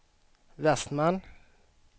Westman